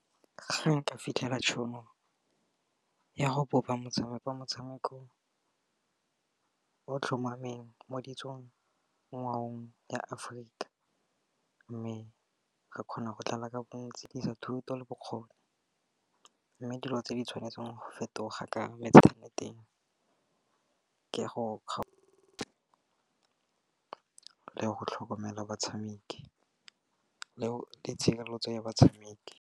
Ga nka fitlhela tšhono ya go bopa motshameko, motshameko o tlhomameng mo ditsong ngwaong ya Aforika. Mme re kgona go tlala ka bontsi dirisa thuto le bokgoni, mme dilo tse di tshwanetseng go fetoga ka motshameko ya mo inthaneteng ke go ka go tlhokomela batshameki le ditshenyegelo tse ya batshameki.